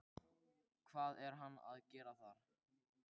Hvað er hann að gera þar?